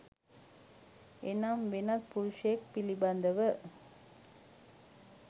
එනම් වෙනත් පුරුෂයෙක් පිළිබඳව